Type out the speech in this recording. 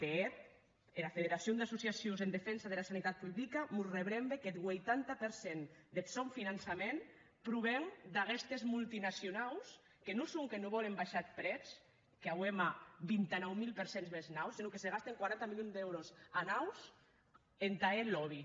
de hèt era federacion d’associacions en defensa dera sanitat publica mos arrebrembe qu’eth vuitanta per cent deth sòn finançament proven d’aguestes multinacionaus que non sonque non vòlen baishar eth prètz qu’auem a vint nou mil per cent més nau senon que se gasten quaranta milions d’èuros annaus entà hèr lobby